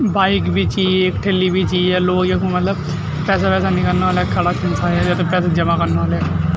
बाइक भी छि एक ठेल्लि भी चि य लोग यखम मलब पैसा वैसा नीकलना वल्ला खड़ा छिन सायद या त पैसा जमा कन वल्ला यख।